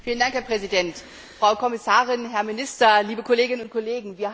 Herr Präsident, Frau Kommissarin, Herr Minister, liebe Kolleginnen und Kollegen!